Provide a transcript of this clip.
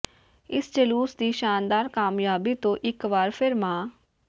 ਇਸ ਜਲੂਸ ਦੀ ਸ਼ਾਨਦਾਰ ਕਾਮਯਾਬੀ ਤੋਂ ਇਕ ਵਾਰ ਫਿਰ ਮਾ